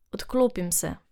Odklopim se.